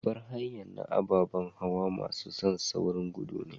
Babbar hanya na ababan hawa masun saurin gudu ne.